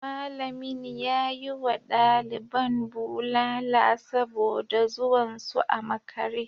Malamin ya yi wa daliban bulala saboda zuwan su a makare